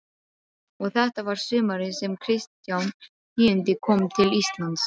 Og þetta var sumarið sem Kristján tíundi kom til Íslands.